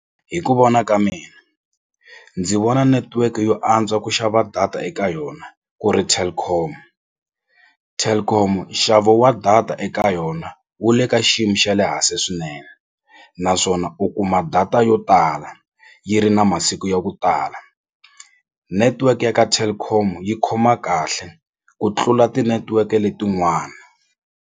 Hi ku vona ka mina ndzi vona netiweke yo antswa ku xava data eka yona ku ri Telkom, Telkom nxavo wa data eka yona wu le ka xiyimo xa le hansi swinene swinene naswona u kuma data yo tala yi ri na masiku ya ku tala network ya ka Telkom yi khoma kahle ku tlula tinetiweke letin'wani.